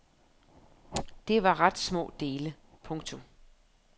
Det var ret små dele. punktum